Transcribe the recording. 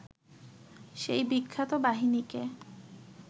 সেই বিখ্যাত বাহিনীকে